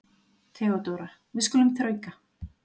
THEODÓRA: Við skulum þrauka.